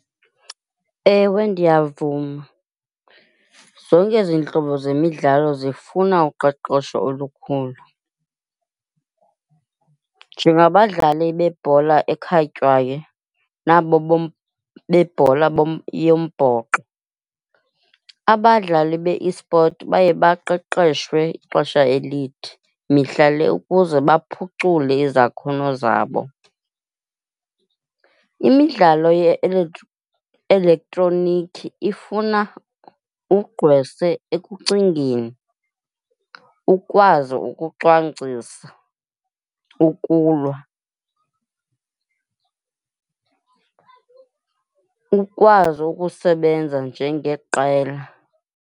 Ewe, ndiyavuma. Zonke ezi ntlobo zemidlalo zifuna uqeqesho olukhulu. Njengabadlali bebhola ekhatywayo nabo bebhola yombhoxo, abadlali be-esport baye baqeqeshwe ixesha elide mihla le ukuze baphucule izakhono zabo. Imidlalo elektroniki ifuna ugqwese ekucingeni, ukwazi ukucwangcisa, ukulwa, ukwazi ukusebenza njengeqela.